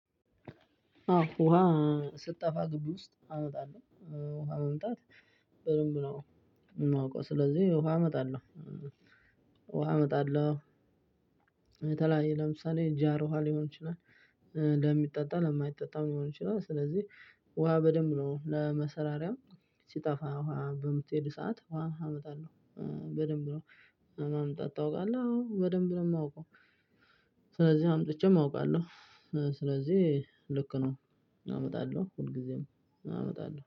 ውሃ ስትጠፋ ግቢ ውስጥ አመጣለሁ ውሃ መምጣት በደንብ ነው የማውቀው ስለዚህ ውሃ እመጣለሁ ውሃ እመጣለሁ የተለያየ ለምሳሌ ጃር ውሃ ሊሆን ይችላል ለሚጠጣ ለማይጠጣው ሊሆን ይችላል ስለዚህ ውሃ በደንብ ነው ለመሰራሪያው ለመሰራሪያም ሲጠፋ ውሃ በምትሄድ ሰዓት ውሃ አመጣለሁ። በደንብ ነው ማምጣት ታውቃለህ? አዎ በደንብ ነው የማውቀው። ስለዚህ አምጥቼም አውቃለሁ። ስለዚህ ልክ ነው አመጣለሁ ሁል ጊዜም አመጣለሁ።